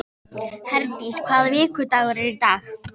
Herdís, hvaða vikudagur er í dag?